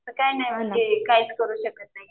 तर काही नाही म्हणजे काहीच करू शकत नाही.